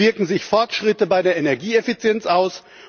Wie wirken sich Fortschritte bei der Energieeffizienz aus?